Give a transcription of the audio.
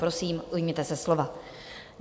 Prosím, ujměte se slova.